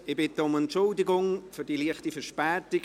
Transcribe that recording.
Ich bitte um Entschuldigung für die leichte Verspätung.